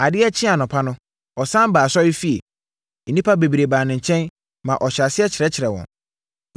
Adeɛ kyee anɔpa no, ɔsane baa asɔrefie. Nnipa bebree baa ne nkyɛn ma ɔhyɛɛ aseɛ kyerɛkyerɛɛ wɔn.